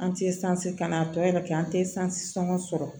An tɛ ka na tɔ ye an tɛ sɔngɔ sɔrɔ